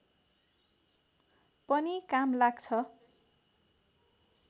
पनि काम लाग्छ